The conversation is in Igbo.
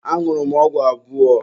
Añụrụ m ọgwụ abụọ.